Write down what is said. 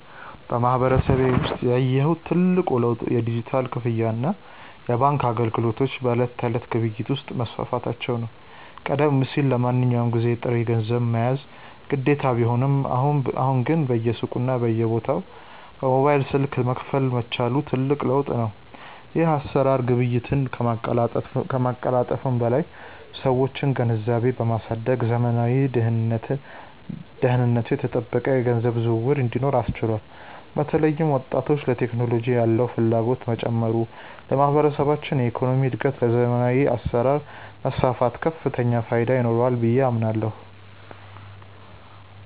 በማህበረሰቤ ውስጥ ያየሁት ትልቁ ለውጥ የዲጂታል ክፍያና የባንክ አገልግሎቶች በዕለት ተዕለት ግብይት ውስጥ መስፋፋታቸው ነው። ቀደም ሲል ለማንኛውም ግዢ ጥሬ ገንዘብ መያዝ ግዴታ ቢሆንም፣ አሁን ግን በየሱቁና በየቦታው በሞባይል ስልክ መክፈል መቻሉ ትልቅ ለውጥ ነው። ይህ አሰራር ግብይትን ከማቀላጠፉም በላይ የሰዎችን ግንዛቤ በማሳደግ ዘመናዊና ደህንነቱ የተጠበቀ የገንዘብ ዝውውር እንዲኖር አስችሏል። በተለይም ወጣቱ ለቴክኖሎጂ ያለው ፍላጎት መጨመሩ ለማህበረሰባችን የኢኮኖሚ እድገትና ለዘመናዊ አሰራር መስፋፋት ከፍተኛ ፋይዳ ይኖረዋል ብዬ አምናለሁ።